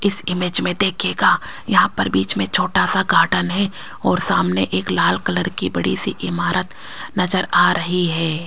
इस इमेज में देखिएगा यहाँ पर बीच में छोटा सा गार्डन है और सामने एक लाल कलर की बड़ी सी इमारत नजर आ रही है।